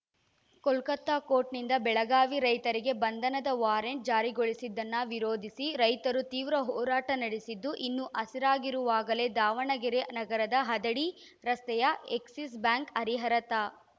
Kolkata court ನಿಂದ ಬೆಳಗಾವಿ ರೈತರಿಗೆ ಬಂಧನದ ವಾರೆಂಟ್‌ ಜಾರಿಗೊಳಿಸಿದ್ದನ್ನ ವಿರೋಧಿಸಿ ರೈತರು ತೀವ್ರ ಹೋರಾಟ ನಡೆಸಿದ್ದು ಇನ್ನೂ ಹಸಿರಾಗಿರುವಾಗಲೆ ದಾವಣಗೆರೆ ನಗರದ ಹದಡಿ ರಸ್ತೆಯ ಎಕ್ಸಿಸ್‌ ಬ್ಯಾಂಕ್‌ ಹರಿಹರ ತಾ